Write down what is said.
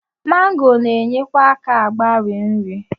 Mango na-enyekwa aka mgbari nri.